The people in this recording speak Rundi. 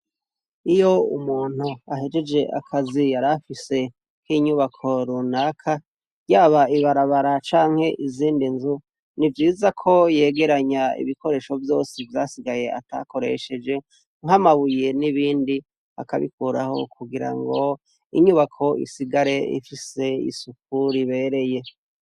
Ikigo c' ishure cubakishijw' amatafar' ahiye, imbere y' inyubako har' abanyeshure bariko baragenda bambaye n' imyambar' ibaranga basankaho barigutaha, hateye n' uduti twamashurwe dufis' amababi y' icatsi kibisi, utambuts' ibarabara, imbere y' inyubako har'ibiti vyinshi binini bifis' amasham' atotahaye n' utwatsi dukase neza turinganiye.